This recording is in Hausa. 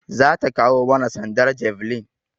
Za ta kawo mana sandar javelin.